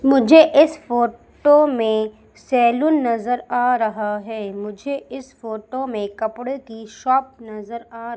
मुझे इस फोटो में सैलून नजर आ रहा है मुझे इस फोटो में कपड़े की शॉप नजर आ--